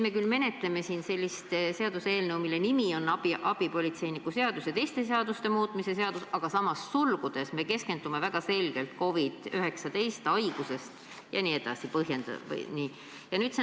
Me küll menetleme siin seaduseelnõu, mille nimi on abipolitseiniku seaduse ja teiste seaduste muutmise seaduse eelnõu, aga vaadates sulgudes öeldut, keskendume me väga selgelt COVID-19 haigusega seonduvale.